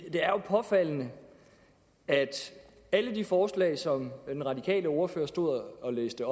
er jo påfaldende at alle de forslag som den radikale ordfører stod og læste